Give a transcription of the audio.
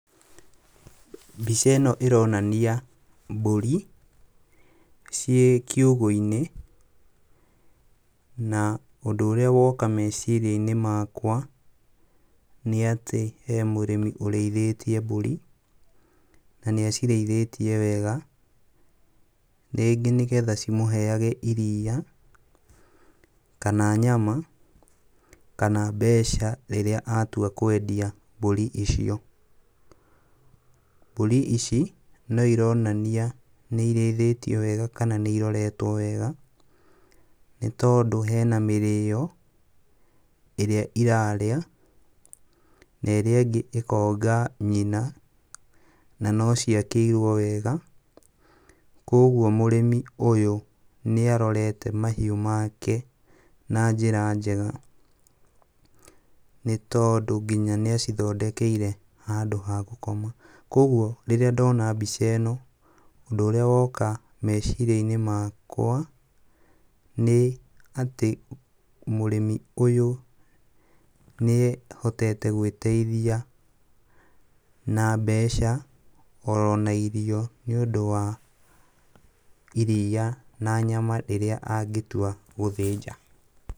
Mbica ĩno ĩronania mbũri ciĩ kiugũ-inĩ, na ũndũ ũrĩa woka meciria-inĩ makwa nĩatĩ he mũrĩmi ũrĩithĩtie mbũri na nĩacirĩithĩtie wega rĩngĩ nĩgetha cimũheage iria kana nyama kana mbeca rĩrĩa atua kwendia mbũri icio. Mbũri ici no ironania nĩirĩithĩio wega kana nĩiroretwo wega, nĩtondũ hena mĩrĩo ĩrĩa irarĩa n aĩrĩa ĩngĩ ĩkonga nyina na no ciakĩirwo wega, kuoguo mũrĩmi ũyũ nĩarorete mahiũ make na njĩra njega nĩtondũ nginya nĩacithondekeire handũ ha gũkoma. Kuoguo rĩrĩa ndona mbica ĩno, ũndũ ũrĩa woka meciria-inĩ makwa nĩ atĩ mũrĩmi ũyũ nĩehotete gwĩteithia na mbeca oro na irio nĩũndũ wa iria na nyama rĩrĩa angĩtua gũthĩnja.